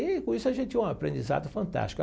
E, com isso, a gente tinha um aprendizado fantástico.